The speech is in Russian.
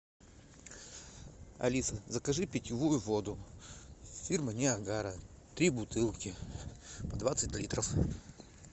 алиса закажи питьевую воду фирмы ниагара три бутылки по двадцать литров